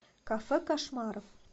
кафе кошмаров